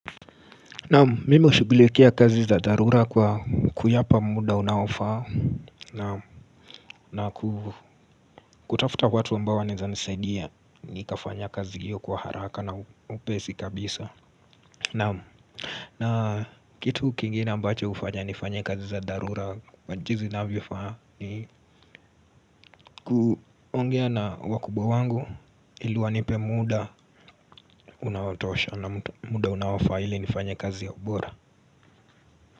Naam mimi hushughulikia kazi za dharura kwa kuyapa muda unaoafaa na kutafuta watu ambao wanaeza nisaidia ni kafanya kazi hiyo kwa haraka na upesi kabisa na na kitu kingine ambacho hufanya nifanye kazi za dharura kwa jinsi inavyofaa ni kuongea na wakubwa wangu ili wanipe muda unaotosha na muda unaofaa hili nifanye kazi ya ubora.